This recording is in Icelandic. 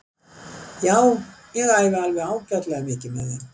Já ég æfi alveg ágætlega mikið með þeim.